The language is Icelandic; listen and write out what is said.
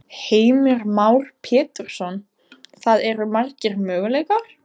Heimir Már Pétursson: Það eru margir möguleikar?